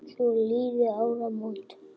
Svo liðu áramót.